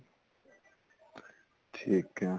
ਠੀਕ ਏ